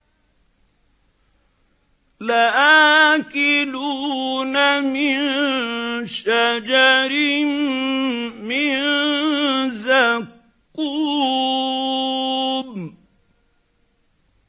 لَآكِلُونَ مِن شَجَرٍ مِّن زَقُّومٍ